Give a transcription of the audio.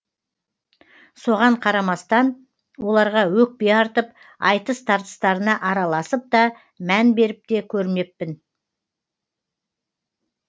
соған қарамастан оларға өкпе артып айтыс тартыстарына араласып та мән беріп те көрмеппін